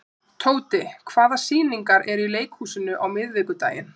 Tóti, hvaða sýningar eru í leikhúsinu á miðvikudaginn?